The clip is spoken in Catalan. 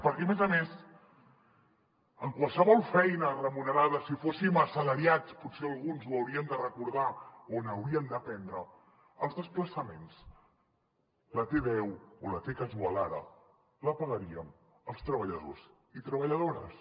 perquè a més a més en qualsevol feina remunerada si fóssim assalariats potser alguns ho haurien de recordar o n’haurien d’aprendre els desplaçaments la t deu o la t casual ara la pagaríem els treballadors i treballadores